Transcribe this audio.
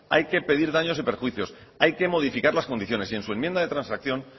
hay que pedir daños y perjuicios hay que modificar las condiciones y en su enmienda de transacción